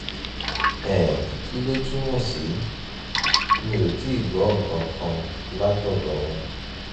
um kí ló túmọ̀ sí? mi ò tíì gbọ́ nǹkan kan látọ̀dọ̀ wọn